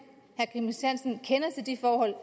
kender til de forhold